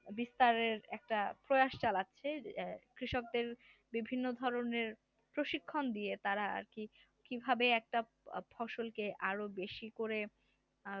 বিস্তারের একটা প্রয়াস চালাচ্ছে অ্যাঁ কৃষকদের বিভিন্ন ধরনের প্রশিক্ষণ দিয়ে তারা আর কি কিভাবে একটা ফসল কে আরো বেশি করে